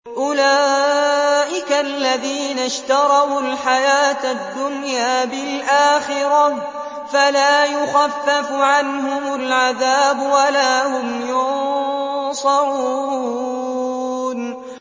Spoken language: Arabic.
أُولَٰئِكَ الَّذِينَ اشْتَرَوُا الْحَيَاةَ الدُّنْيَا بِالْآخِرَةِ ۖ فَلَا يُخَفَّفُ عَنْهُمُ الْعَذَابُ وَلَا هُمْ يُنصَرُونَ